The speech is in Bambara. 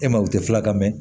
E ma ye u tɛ fila ka mɛn